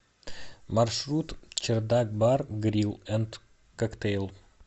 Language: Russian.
маршрут чердак бар грил энд коктейл